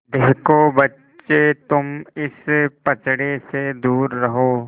देखो बच्चे तुम इस पचड़े से दूर रहो